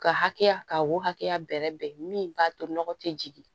Ka hakɛya ka wo hakɛya bɛrɛ bɛn min b'a to nɔgɔ tɛ jigin